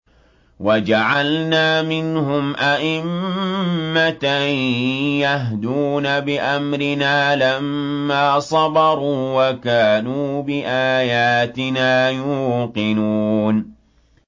وَجَعَلْنَا مِنْهُمْ أَئِمَّةً يَهْدُونَ بِأَمْرِنَا لَمَّا صَبَرُوا ۖ وَكَانُوا بِآيَاتِنَا يُوقِنُونَ